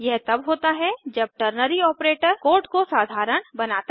यह तब होता है जब टर्नरी ऑपरेटर कोड को साधारण बनाता है